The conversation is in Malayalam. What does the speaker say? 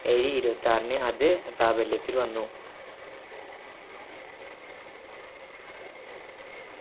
ഇരുപ്പത്തിയാറിന് അത് പ്രാബല്യത്തിൽ വന്നു